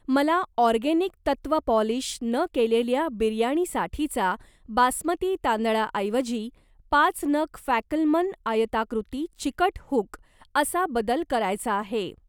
मला ऑर्गेनिक तत्व पॉलिश न केलेल्या बिर्याणीसाठीचा बासमती तांदळाऐवजी पाच नग फॅकलमन आयताकृती चिकट हुक असा बदल करायचा आहे.